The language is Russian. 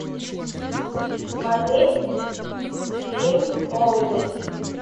смотреть фильм молодость